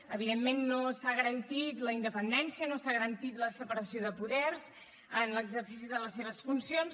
evidentment no s’ha garantit la independència no s’ha garantit la separació de poders en l’exercici de les seves funcions